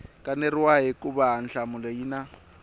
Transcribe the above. kaneriwaka hikuva nhlamulo yi na